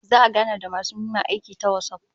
Za'a gana da masu neman aikin ta WhatsApp